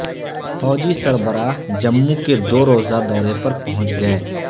فوجی سربرا ہ جموں کے دوروزہ دورے پر پہنچ گئے